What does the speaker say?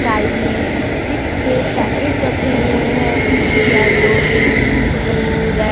side में chips के packet रखे हुए हैं येलो ग्रीन ब्लू रे--